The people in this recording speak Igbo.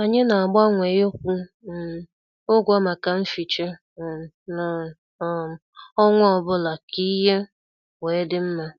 Anyị na- agbanwe ikwu um ụgwọ maka mficha um n' um ọnwa ọbụla ka ihe wee dị mma.